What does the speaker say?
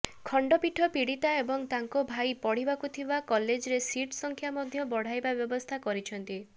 ଖଣ୍ଡପୀଠ ପୀଡ଼ିତା ଏବଂ ତାଙ୍କ ଭାଇ ପଢ଼ିବାକୁ ଥିବା କଲେଜ୍ରେ ସିଟ୍ ସଂଖ୍ୟା ମଧ୍ୟ ବଢ଼ାଇବା ବ୍ୟବସ୍ଥା କରିଛନ୍ତି